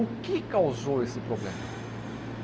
O que causou esse problema?